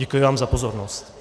Děkuji vám za pozornost.